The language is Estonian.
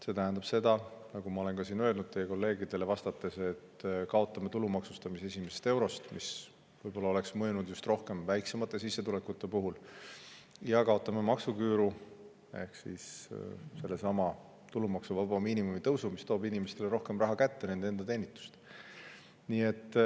See tähendab seda, nagu ma olen siin teie kolleegidele vastates ka öelnud, et me kaotame tulu maksustamise esimesest eurost, mis võib-olla oleks rohkem mõjutanud just väiksema sissetulekuga, ja kaotame maksuküüru ehk seesama tulumaksuvaba miinimumi tõus, mis inimestele nende enda teenitust rohkem raha kätte.